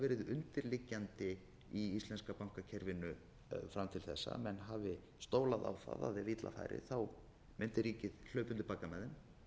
undirliggjandi í íslenska bankakerfinu fram til þessa að menn hafi stólað á það að ef illa færi mundi ríkið hlaupa undir bagga með þeim